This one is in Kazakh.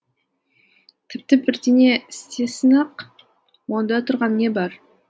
тіпті бірдеңе істесін ақ онда тұрған не бар